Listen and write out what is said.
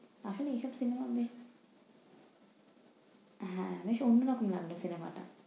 আসলে cinema আমি হ্যাঁ ভীষণ ভালো লাগে নাটকের cinema টা।